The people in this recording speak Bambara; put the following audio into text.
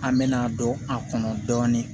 An mɛna a don a kɔnɔ dɔɔnin